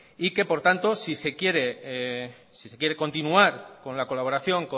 y que por tanto si se quiere continuar con la colaboración